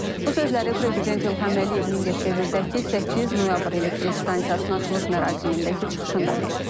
Bu sözləri Prezident İlham Əliyev Mingəçevirdəki 8 noyabr elektrik stansiyasının açılış mərasimindəki çıxışında deyib.